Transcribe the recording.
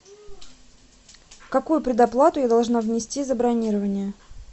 какую предоплату я должна внести за бронирование